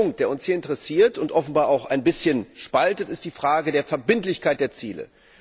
Der einzige Punkt, der uns hier interessiert und offenbar auch ein bisschen spaltet, ist die Frage der Verbindlichkeit der Ziele.